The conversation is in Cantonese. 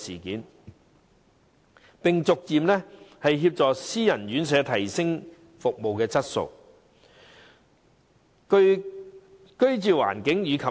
此外，當局應協助私營院舍逐步提升服務質素、居住環境及競爭力。